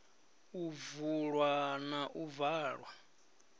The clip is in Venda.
u vulwa na u valwa